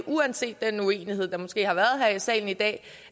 uanset den uenighed der måske har været her i salen i dag